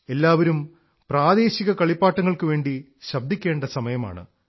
എല്ലാവരും പ്രാദേശിക കളിപ്പാട്ടങ്ങൾക്കുവേണ്ടി ശബ്ദിക്കേണ്ട സമയമാണ്